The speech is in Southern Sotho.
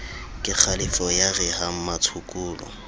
kekgalefo ya re ha mmatshokolo